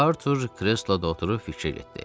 Artur kresloda oturub fikrə getdi.